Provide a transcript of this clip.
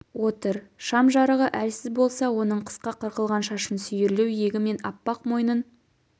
отыр шам жарығы әлсіз болса оның қысқа қырқылған шашын сүйірлеу иегі мен аппақ мойнын